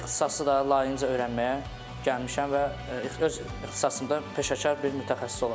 Və bu ixtisası da layiqincə öyrənməyə gəlmişəm və öz ixtisasımda peşəkar bir mütəxəssis olacam.